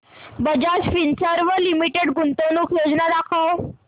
Bajaj Finserv limited गुंतवणूक योजना दाखव